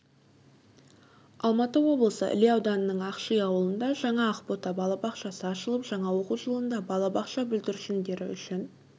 алматы облысы іле ауданының ақши ауылында жаңа ақбота балабақшасы ашылып жаңа оқу жылында балабақша бүлдіршіндері үшін